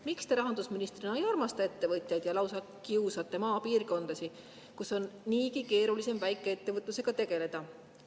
Miks te rahandusministrina ei armasta ettevõtjaid ja lausa kiusate maapiirkondasid, kus on niigi keerulisem väikeettevõtlusega tegeleda?